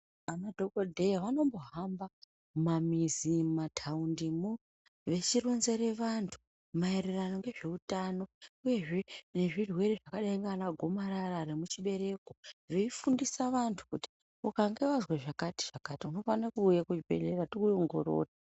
Madhokoteya anombo hamba mumamizi mumataundi moo vechironzere vandu maererano ngezveutano uye zvee ngezvirwere zvakadai nana gomarara vemuchibereko veyifundisa vandu kuti ikange wazwaa zvakati zvakati unofane kuuya kuzvibhedhleya tikuongorore.